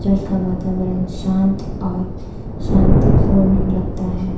इसका वातावरण शांत और शांतिपूर्ण लगता है।